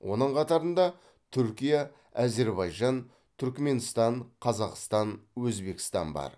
оның қатарында түркия әзербайжан түркіменстан қазақстан өзбекстан бар